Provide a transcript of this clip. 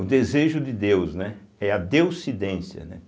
o desejo de Deus, né, é a Deuscidência, né.